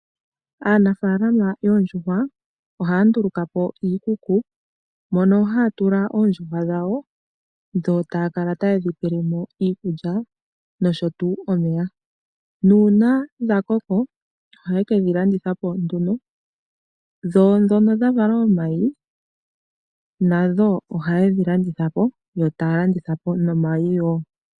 Aanafala yoondjuhwa ohaya nduluka po iikuku mono haya tula oondjuhwa dhawo dho taya kala taye dhi pele mo iikulya nosho tuu omeya nuuna dha koko ohaye kedhi landitha po nduno, dho ndhono dha vala omayi nadho ohaye dhi landitha po yo taya landitha po nomayi wo.